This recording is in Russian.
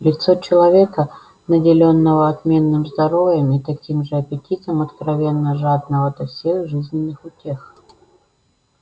лицо человека наделённого отменным здоровьем и таким же аппетитом откровенно жадного до всех жизненных утех